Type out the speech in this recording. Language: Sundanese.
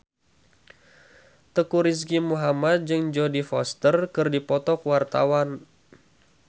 Teuku Rizky Muhammad jeung Jodie Foster keur dipoto ku wartawan